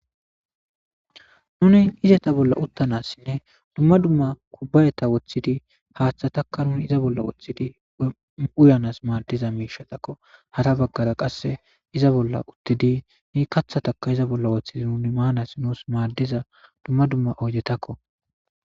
Nuni izeta bolla uttanassinne dumma dumma kubbayeta woththidi haaththatakka nuni iza bolla woththidi uyanas maaddiza miishatakko hara baggara qasse iza bolla uttidi ni kathataka iza bolla woththidi nuni maanas nuus maaddiza dumma dumma oyidetakko.